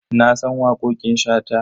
Na san waƙoƙin Shata.